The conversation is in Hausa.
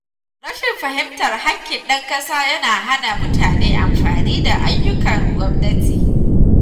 Rashin fahimtar haƙƙin ɗan ƙasa yana hana mutane amfana da ayyukan gwamnati.